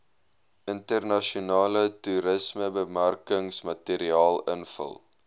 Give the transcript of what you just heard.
internasionale toerismebemarkingsmateriaal invul